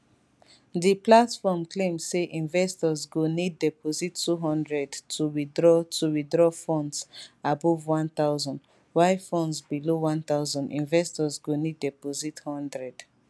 di platform claim say investors go need deposit 200 to withdraw to withdraw funds above 1000 while funds below 1000 investors go need deposit 100